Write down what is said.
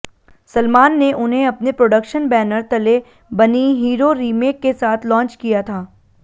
सलमान ने उन्हें अपने प्रोडक्शन बैनर तले बनी हीरो रीमेक के साथ लॉन्च किया था